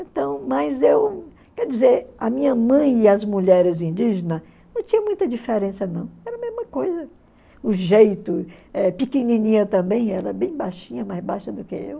Então, mas eu, quer dizer, a minha mãe e as mulheres indígenas não tinha muita diferença não, era a mesma coisa, o jeito, eh pequenininha também, ela bem baixinha, mais baixa do que eu.